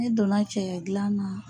Ne donna cɛkɛ dilan na.